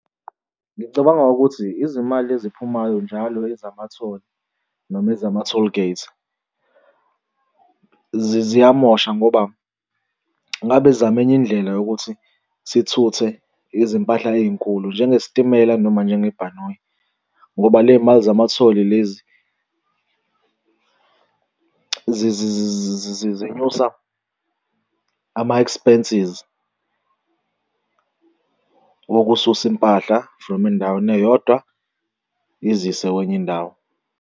Ngicabanga ukuthi izimali eziphumayo njalo ezima-toll noma ezama-toll gate, ziyamosha ngoba ngabe zama enye indlela yokuthi sithuthe izimpahla ey'nkulu njenge sitimela noma njengebhanoyi, ngoba ley'mali zamathole lezi zinyusa ama-expenses wokususa impahla from endaweni eyodwa izise kwenye indawo.